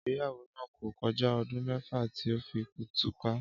Ígbéyàwó náà kò ko̩já o̩dún mé̩fà tí ó fi túká